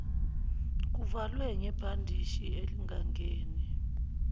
kuvalwe ngebhandishi elingangeni